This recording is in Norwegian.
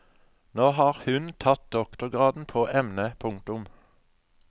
Nå har hun tatt doktorgraden på emnet. punktum